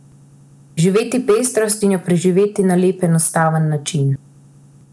Živeti pestrost in jo preživeti na lep, enostaven način.